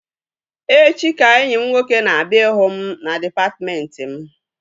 Echi ka enyi m nwoke na-abịa ịhụ m na dịpatmentị m